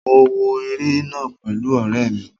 Mo wo eré náà pẹ̀lú ọ̀rẹ́ mi